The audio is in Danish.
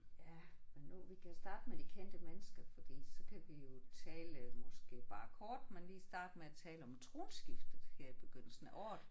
Ja men nu vi kan starte med de kendte mennesker fordi så kan vi jo tale måske bare kort men lige starte med at tale om tronskiftet her i begyndelsen af året